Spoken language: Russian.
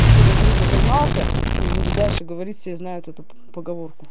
как говорится сознался не буду дальше говорить все знают эту поговорку